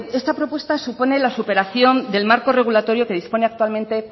esta propuesta supone la superación del marco regulatorio que dispone actualmente